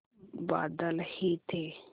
बादल ही थे